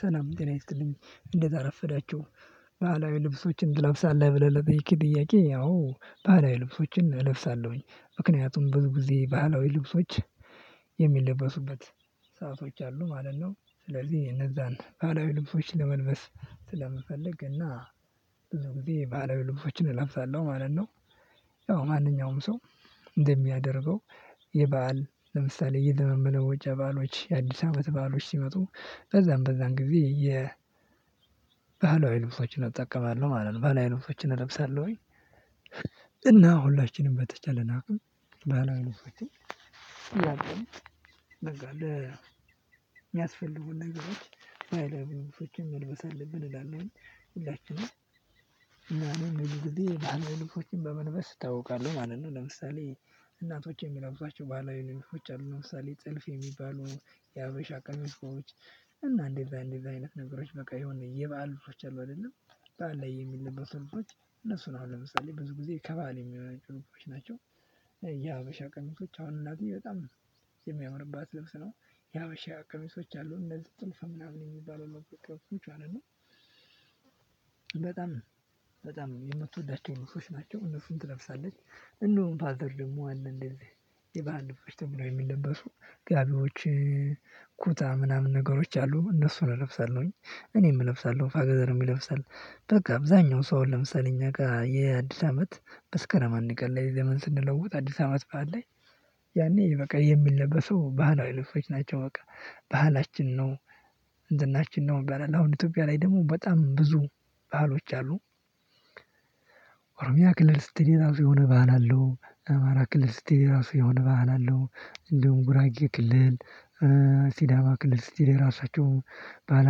ሰላም ጤና ይስጥልኝ እንዴት አረፈዳችሁ? ባህላዊ ልብሶችን ትለብሳለህ ብለህ ለጠየቅከኝ ጥያቄ አዎ ባህላዊ ልብሶችን እለብሳለሁኝ ምክንያቱም ብዙ ጊዜ ባህላዊ ልብሶች የሚለበሱበት ሰአቶች አሉ ማለት ነው። ስለዚህ እነዛን ባህላዊ ልብሶች ለመልበስ ስለምፈልግ እና ብዙ ጊዜ ባህላዊ ልብሶችን እለብሳለሁ ማለት ነው። ያው ማንኛውም ሰው እንደሚያደርገው የበአል ለምሳሌ የዘመን መለወጫ በዓሎች የአዲስ አመት በዓሎች ሲመጡ በዛም በዛም ጊዜ የ ባህላዊ ልብሶችን እጠቀማለሁ ማለት ነው። ባህላዊ ልብሶችን እለብሳለሁኝ እና ሁላችንም በተቻለን አቅም ባህላዊ ልብሶችን ያለንን በቃለ ሚያስፈልጉን ነገሮች ባህላዊ ልብሶችን መልበስ አለብን እላለሁኝ ሁላችንም እና እኔ ብዙ ጊዜ ባህላዊ ልብሶችን በመልበስ እታውቃለሁ ማለት ነው። ለምሳሌ እናቶች የሚለብሷቸው ባህላዊ ልብሶች አሉ ለምሳሌ ጥልፍ የሚባሉ የሀበሻ ቀሚሶች እንደዛ እንደዛ አይነት ነገሮች በቃ የሆነ የበአል ልብሶች አሉ። አይደለም በዓል ላይ የሚለበሱ ልብሶች እነሱን አሁን ለምሳሌ ብዙ ጊዜ ከበዓል የሚሆን ጭንቆች ናቸው። የሀበሻ ቀሚሶች አሁን እናቴ በጣም ነው የሚያምርባት ልብስ ነው ያበሻ ቀሚሶች አሉ እነዚህ ጥልፍ ምናምን የሚባለው የሀበሻ ቀሚሶች ማለት ነው በጣም በጣም የምትወዳቸው ልብሶች ናቸው እነሱን ትለብሳለች። እንደውም ፋዘር ደግሞ አለ እንደዚህ የባህር ልብስ ተብሎ የሚለበሱ ጋቢዎች ኩታ ምናምን ነገሮች አሉ እነሱን እለብሳለሁኝ እኔም እለብሳለሁ ፋዘርም ይለብሳል። በቃ አብዛኛው ሰው ለምሳሌ እኛ ጋር የአዲስ አመት መስከረም አንድ ቀን ላይ ዘመን ስንለውጥ አዲስ አመት በዓል ላይ ያኔ በቃ የሚለበሰው ባህላዊ ልብሶች ናቸው በቃ ባህላችን ነው። ዝናችን ነው ይባላል አሁን ኢትዮጵያ ላይ ደግሞ በጣም ብዙ ባህሎች አሉ። ኦሮሚያ ክልል ስትል የራሱ የሆነ ባህል አለው አማራ ክልል ስትል ራሱ የሆነ ባህል አለው። እንደውም ጉራጌ ክልል ሲዳማ ክልል ስትሄድ የራሳቸው ባህል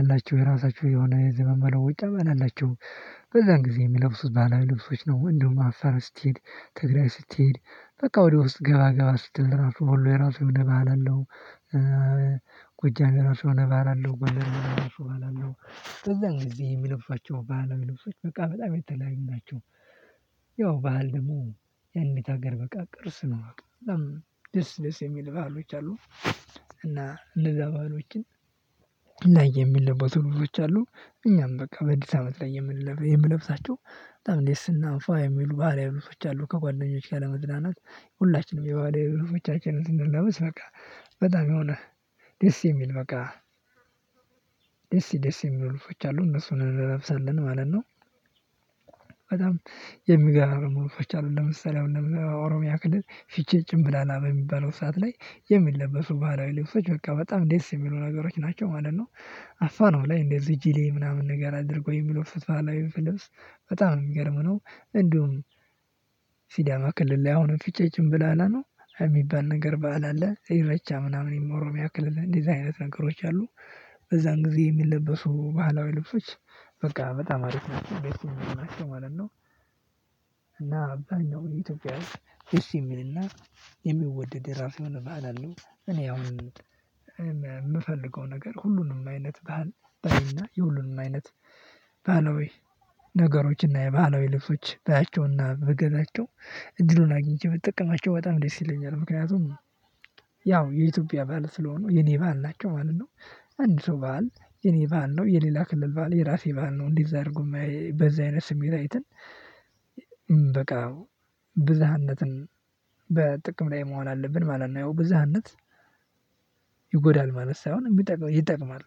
አላቸው የራሳቸው የሆነ የዘመን መለውጫ ባህል አላቸው በዛን ጊዜ የሚለብሱት ባህላዊ ልብሶች ነው ወንድም አፋር ስትሄድ ትግራይ ስትሄድ በቃ ወደ ውስጥ ገባ ገባ ስትል ወሎ ራሱ የሆነ ባህል አለው። ጎጃም የራሱ የሆነ ባህል አለው ጎንደር የራሱ ባህል አለው በዚያን ጊዜ የሚለብሷቸው ባህላዊ ልብሶች በቃ በጣም የተለያዩ ናቸው። ያው ባህል ደግሞ ያንዲት ሀገር በቃ ቅርስ ነው በጣም ደስ ደስ የሚል ባህሎች አሉ። እና እነዛ በዓሎችን ላይ የሚለበሱ ልብሶች አሉ። እኛም በቃ በአዲስ አመት ላይ የምንለሳቸው በጣም ደስ እና ፉ የሚሉ የሚሉ ባህላዊ ልብሶች አሉ ከጓደኞች ለመዝናናት ሁላችንም የባህላዊ ልብሶቻችንን ስንለብስ በቃ በጣም የሆነ ደስ የሚል በቃ ደስ ደስ የሚሉ ልብሶች አሉ እነሱን እንለብሳለን ማለት ነው። በጣም የሚገራረሙ ልብሶች አሉ ለምሳሌ አሁን ኦሮሚያ ክልል ፊቼ ጨምበላላ በሚባለው ሰዓት ላይ የሚለበሱ ባህላዊ ልብሶች በቃ በጣም ደስ የሚሉ ነገሮች ናቸው ማለት ነው። አፋርም ላይ እንደዚህ እጅ ላይ ምናምን ነገር አድርጎ የሚለብሱት ባህላዊ ልብስ በጣም ነው የሚገርም ነው እንደውም። ሲዳማ ክልል ላይ አሁን ፍቼ ጨምበላላ ነው የሚባል ነገር ባህል አለ ኢሬቻ ምናምን ኦሮሚያ ክልል እንደዚህ አይነት ነገሮች አሉ በዛን ጊዜ የሚለበሱ ባህላዊ ልብሶች በቃ በጣም አሪፍ ናቸው ደስ የሚሉ ናቸው ማለት ነው። እና ለማንኛውም የኢትዮጵያ ህዝብ ደስ የሚልና የሚወደድ የራሱ የሆነ ባህል አለው። እኔ አሁን የምፈልገው ነገር ሁሉንም አይነት ባህላዊ ነገሮችና የባህላዊ ልብሶች ባያቸውና ብገዛቸው እድሉን አግኝቼ ብተጠቀማቸው በጣም ደስ ይለኛል ምክንያቱም ያው የኢትዮጵያ በዓል ስለሆነ የኔ በዓል ናቸው ማለት ነው። አንድ ሰው የኔ በዓል ነው የሌላ ክልል በዓል የራሴ በዓል ነው እንዲህ አድርጎ ማየት በዛ አይነት ስሜት አይተን በቃ ብዝሃነትን በጥቅም ላይ መሆን አለብን ማለት ነው። ያው ብዝሃነት ይጎዳል ማለት ሳይሆን የሚጠቅም ይጠቅማል።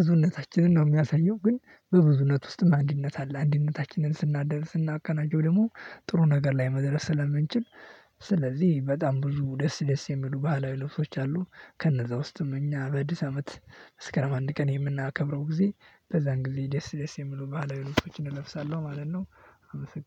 ብዙነታችንን ነው የሚያሳየው ግን በብዙነት ውስጥ አንድነት አለ አንድነታችንን ስናደርስ ስናቀናቸጀው ደግሞ ጥሩ ነገር ላይ መድረስ ስለምንችል ስለዚህ በጣም ብዙ ደስ ደስ የሚሉ ባህላዊ ልብሶች አሉ። ከነዛ ውስጥም እኛ በአዲስ አመት መስከረም አንድ ቀን የምናከብረው ጊዜ በዛን ጊዜ ደስ ደስ የሚሉ ባህላዊ ልብሶችን እንለብሳለን ማለት ነው። አመሰግናለሁ